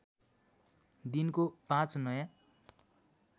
दिनको ५ नयाँ